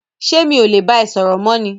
ṣé mi ò le bá ẹ sọ̀rọ̀ mọ́ ni?